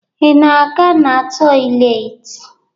Ị na-aga na tọyịleetị?